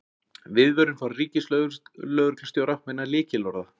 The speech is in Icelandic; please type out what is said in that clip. Viðvörun frá ríkislögreglustjóra vegna lykilorða